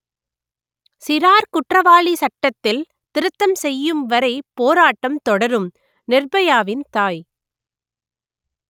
சிறார் குற்றவாளி சட்டத்தில் திருத்தம் செய்யும்வரை போராட்டம் தொடரும் நிர்பயாவின் தாய்